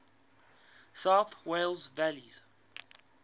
south wales valleys